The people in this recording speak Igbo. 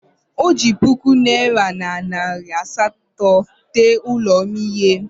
O ji otu puku naịra na nari asatọ tee ụlọ m ihe.